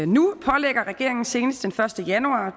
nu pålægger regeringen senest den første januar